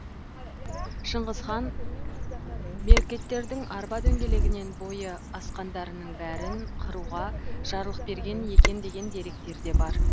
шыңғыс хан меркіттердің арба дөңгелегінен бойы асқандарының бәрін қыруға жарлық берген екен деген деректер де бар